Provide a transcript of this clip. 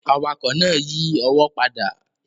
Awakọ̀ náà yí ọwọ́ padà